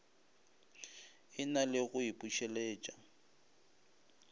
e na le go ipušeletša